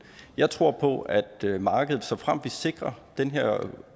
jeg tror på at markedet såfremt vi sikrer den her